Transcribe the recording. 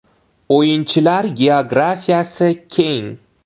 O‘yinchilar geografiyasi keng.